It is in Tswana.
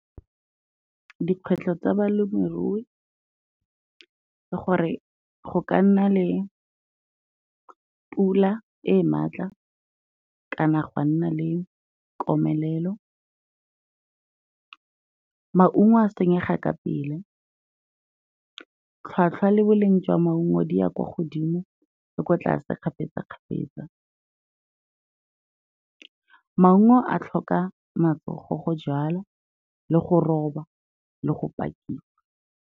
Dikgwetlho tsa balemirui ke gore go ka nna le pula e e maatla, ga nna le komelelo, maungo a senyega ka pele, tlhwatlhwa le boleng jwa maungo di ya kwa godimo le ko tlase kgapetsa-kgapetsa, maungo a tlhoka matsogo go jalwa, le go roba le go pakiwa.